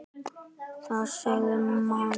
Það segir mamma hans.